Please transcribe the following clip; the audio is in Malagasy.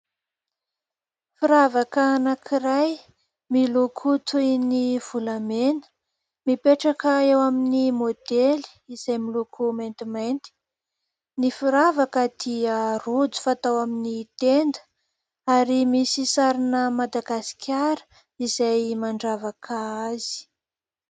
Firavaka anankiray miloko toy ny volamena, mipetraka eo amin'ny modely izay miloko maintimainty. Ny firavaka dia rojo fatao amin'ny tenda ary misy sarina Madagasikara izay mandravaka azy.